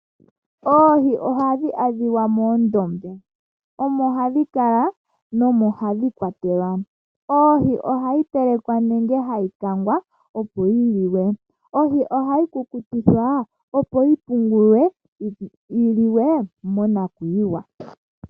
Oohi ohadhi adhiwa moondombe, omo hadhi kala nomo hadhi kwatelwa. Ohi ohayi telekwa nenge hayi kangwa opo yi liwe. Ohi ohayi kukutikwa opo yi pungulwe yi liwe, monakuyiwa.